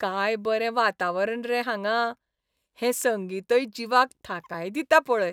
काय बरें वातावरण रे हांगां, हें संगीतय जिवाक थाकाय दिता पळय.